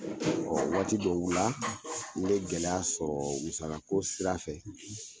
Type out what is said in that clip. Ɔ Waati dɔw la n be gɛlɛya sɔrɔ musala ko sira fɛ